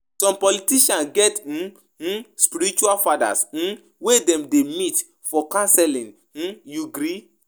Some politicians get um um spiritual fathers um wey dem dey meet for counselling, um you gree?